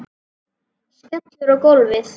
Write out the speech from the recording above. Skellur á gólfið.